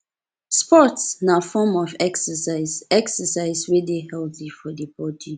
sports na form of exercise exercise wey de healthy for di body